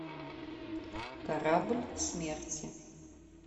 корабль смерти